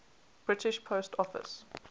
british post office